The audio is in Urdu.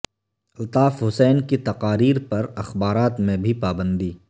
الطاف حسین کی تقاریر پر اخبارات میں بھی پابندی